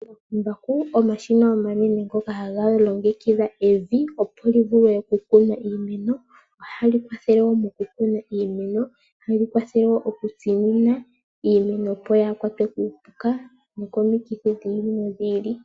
Omambakumbaku omashina omanene ngoka haga longekidha evi opo livulwe okukunwa iimeno. Ohali kwathele woo okukuna iimeno, ohali kwathele wo okutsinina iimeno opo yaakwatwe kuupuka noko mikithi dhi ili nodhi ili.